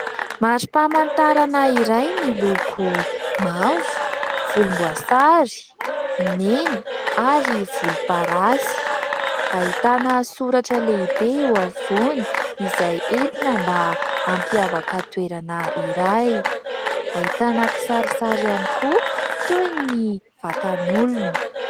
Mari-pamantarana iray, miloko : mavo, volomboasary, mena ary volomparasy. Ahitana soratra lehibe eo afovoany izay entina mba hampiavaka toerana iray. Ahitana kisarisary ihany koa toy ny vatan'olona.